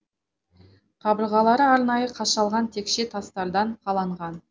қабырғалары арнайы қашалған текше тастардан қаланған